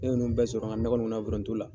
N ɲe ninnu bɛ sɔrɔ n ka nakɔ in kɔnɔ yan foronto la.